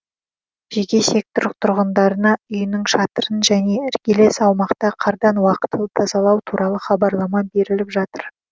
жеке сектор тұрғындарына үйінің шатырын және іргелес аумақты қардан уақытылы тазалау туралы хабарлама беріліп жатыр